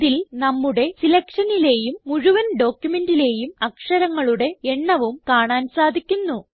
ഇതിൽ നമ്മുടെ സിലക്ഷനിലേയും മുഴുവൻ ഡോക്യുമെന്റിലേയും അക്ഷരങ്ങളുടെ എണ്ണവും കാണാൻ സാധിക്കുന്നു